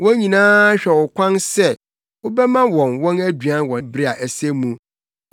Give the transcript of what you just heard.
Wɔn nyinaa hwɛ wo kwan sɛ wobɛma wɔn wɔn aduan wɔ bere a ɛsɛ mu.